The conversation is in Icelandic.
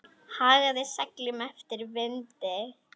Hagaði seglum eftir vindi.